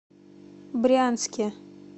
брянске